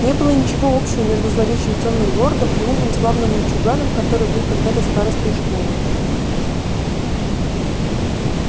не было ничего общего между зловещим тёмным лордом и умным славным мальчуганом который был когда-то старостой школы